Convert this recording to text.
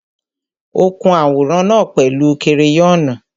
Ó kun àwòrán náà pẹ̀lú kereyọ́nù.